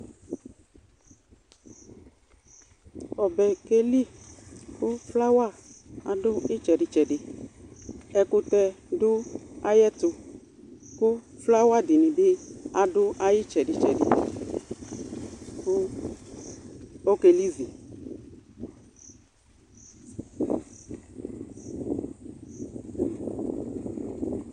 Ɔbɛ keli Ku flawa adu itsedi tsɛdi Ɛkutɛ du ayɛtu Flawa dini adu itsedi tsɛdi ku ɔkelizi